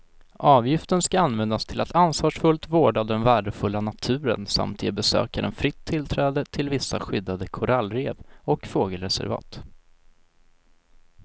Avgiften ska användas till att ansvarsfullt vårda den värdefulla naturen samt ge besökaren fritt tillträde till vissa skyddade korallrev och fågelreservat.